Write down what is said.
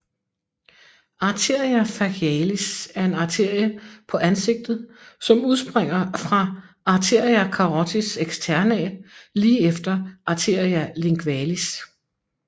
Arteria facialis er en arterie på ansigtet som udspringer fra arteria carotis externa lige efter arteria lingualis